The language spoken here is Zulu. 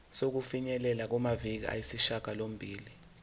sokufinyelela kumaviki ayisishagalombili